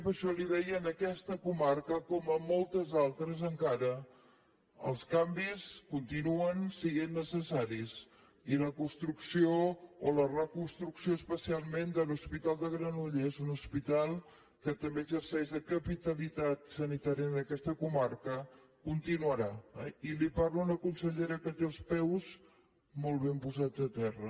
per això li deia en aquesta comarca com en moltes altres encara els canvis continuen sent necessaris i la construcció o la reconstrucció especialment de l’hospital de granollers un hospital que també exerceix la capitalitat sanitària en aquesta comarca continuarà eh i li parla una consellera que té els peus molt ben posats a terra